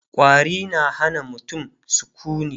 ƙwari na Hana mutum sukuni